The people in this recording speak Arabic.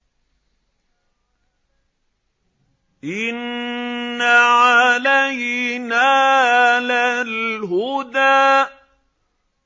إِنَّ عَلَيْنَا لَلْهُدَىٰ